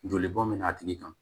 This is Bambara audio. Joli bɔn bɛ na a tigi kan